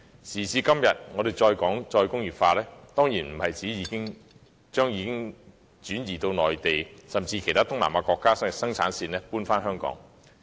時至今日，我們談"再工業化"，當然不是指要把已轉移至內地，甚至其他東南亞國家的生產線搬回香港。